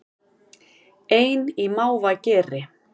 Ein í mávageri